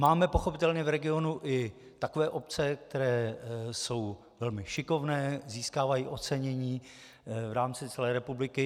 Máme pochopitelně v regionu i takové obce, které jsou velmi šikovné, získávají ocenění v rámci celé republiky.